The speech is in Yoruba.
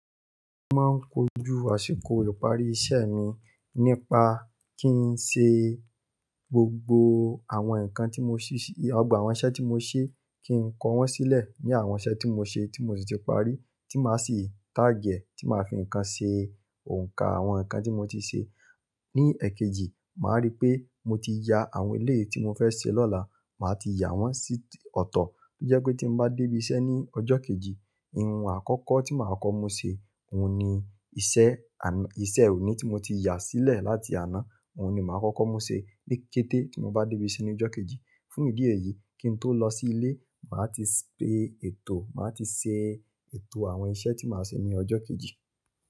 Mo máa ń kojú àsìkò ìparí iṣẹ́ mi nípa kí n ṣe gbogbo àwọn nǹkan tí mo ṣè, gbogbo àwọn iṣẹ́ tí mo se kí n kó wọn sílẹ̀ ní àwọn iṣẹ́ tí mo ṣe tí mo sì ti parí tí màá sì tagg e tí màá fi nǹkan ṣe òǹkà àwọn nǹkan tí mo ti ṣe. Ni ẹ̀kejì, màá rí pé mo ti ya àwọn eleyi tí mo fẹ́ ṣe lọ́la, màá ti yà wọ́n sí ọ̀tọ̀ kí ó jẹ́ pé tí mo bá dé ibi iṣẹ́ ní ọjọ́ kejì, ohun àkọ́kọ́ tí màá kọ́ mú ṣe, òun ni iṣẹ́ àn, iṣẹ́ òní tí mo ti yà sílẹ̀ láti àná, òun ni màá kọ́kọ́ mú ṣe ni kété tí mo bá dé ibi iṣẹ́ ní ọjọ́ kejì. Fún ìdí èyí, kí n tó lọ sí ilé, màá ti ṣe ètò, màá ti ṣe ètò àwọn iṣẹ́ tí màá ṣe ní ọjọ́ kejì.